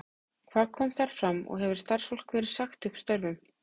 Hvað kom þar fram og hefur starfsfólki verið sagt upp störfum?